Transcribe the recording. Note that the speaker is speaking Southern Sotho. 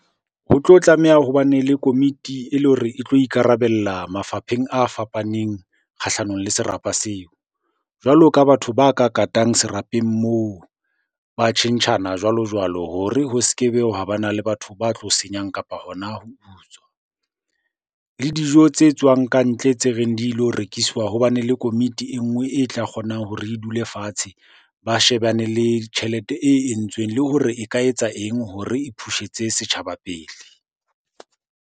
Ho tlo tlameha ho bane le komiti e le hore e tlo ikarabella mafapheng a fapaneng kgahlanong le serapa seo. Jwalo ka batho ba ka katang serapeng moo, ba tjhentjhana jwalo-jwalo hore ho se ke be hwa bana le batho ba tlo senyang kapa hona ho utswa. Le dijo tse tswang kantle tse reng di lo rekiswa, ho bane le komiti e nngwe e tla kgonang hore e dule fatshe ba shebane le tjhelete e entsweng. Le hore e ka etsa eng hore e push-etse setjhaba pele?